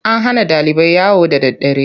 An hana ɗalibai yawo da daddare.